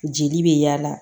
Jeli bɛ yaala